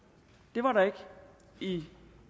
det var der ikke i